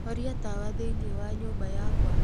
horia tawa thiini wa nyumba yakwa